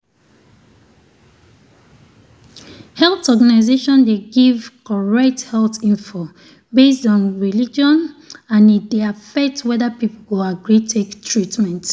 health organization dey give correct health info based on religion and e dey affect whether people go agree take treatment.